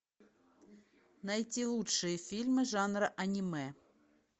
найти лучшие фильмы жанра аниме